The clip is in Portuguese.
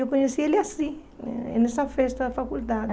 Eu conheci ele assim, nessa festa da faculdade.